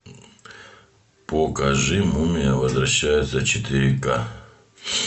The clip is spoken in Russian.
покажи мумия возвращается четыре ка